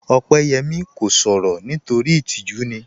Opeyẹmi kò sọ̀rọ̀ nítorí itíjú ni